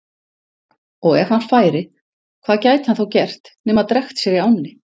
Og ef hann færi, hvað gæti hann þá gert nema drekkt sér í ánni?